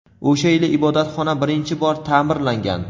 O‘sha yili ibodatxona birinchi bor ta’mirlangan.